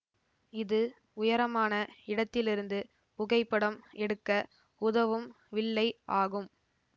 இது உயரமான இடத்திலிருந்து புகைப்படம் எடுக்க உதவும் வில்லை ஆகும்